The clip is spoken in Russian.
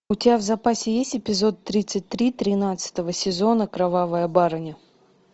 у тебя в запасе есть эпизод тридцать три тринадцатого сезона кровавая барыня